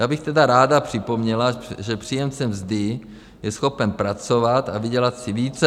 Já bych tedy ráda připomněla, že příjemce mzdy je schopen pracovat a vydělat si více.